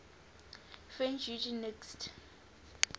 french eugenicists